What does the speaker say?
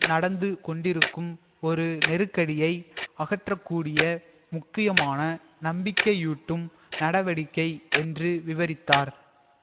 நடந்து கொண்டிருக்கும் ஒரு நெருக்கடியை அகற்றக்கூடிய முக்கியமான நம்பிக்கையூட்டும் நடவடிக்கை என்று விவரித்தார்